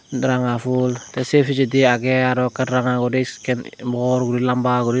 ranga fhul tey sei pijedi agey aro ekkan ranga guri isken bor guri lamba guri.